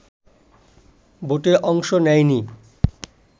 ভোটে অংশ নেয়নি